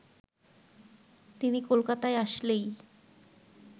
তিনি কলকাতায় আসলেই